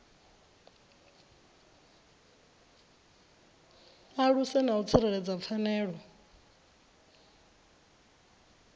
aluse na u tsireledza pfanelo